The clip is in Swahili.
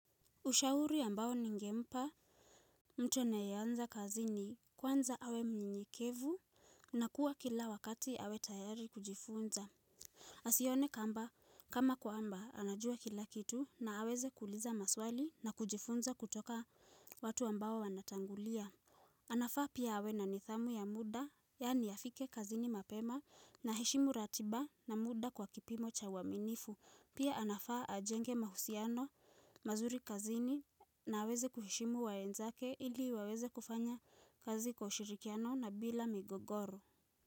Ushauri ambao ningempa mtu anaye anza kazi ni kwanza awe mnyenyekevu na kuwa kila wakati awe tayari kujifunza. Asione kama kwamba anajua kila kitu na aweze kuuliza maswali na kujifunza kutoka watu ambao wanatangulia. Anafaa pia awe na nidhamu ya muda, yaani afike kazini mapema na heshimu ratiba na muda kwa kipimo cha waminifu. Pia anafaa ajenge mahusiano mazuri kazini na aweze kuheshimu wenzake ili waweze kufanya kazi kwa ushirikiano na bila migogoro.